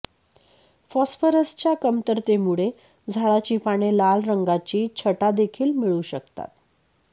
फॉस्फरसच्या कमतरतेमुळे झाडाची पाने लाल रंगाची छटा देखील मिळवू शकतात